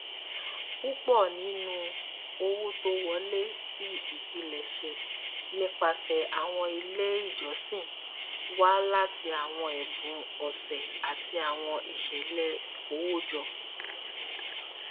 púpọ nínú owó tó wọlé ti ipilẹṣẹ nipasẹ awọn ile ijọsin wa lati awọn ẹbun ọsẹ ati awọn iṣẹlẹ ikowojo